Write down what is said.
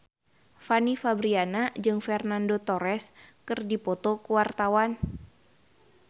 Fanny Fabriana jeung Fernando Torres keur dipoto ku wartawan